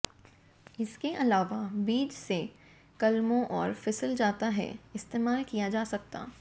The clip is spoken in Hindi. इसके अलावा बीज से कलमों और फिसल जाता है इस्तेमाल किया जा सकता